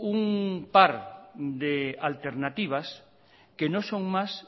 un par de alternativas que no son más